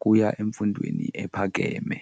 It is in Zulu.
kuya emfundweni ephakeme.